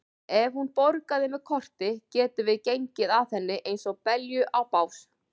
Ef hún borgaði með korti getum við gengið að henni eins og belju á bás.